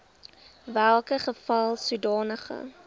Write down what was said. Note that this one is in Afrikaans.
welke geval sodanige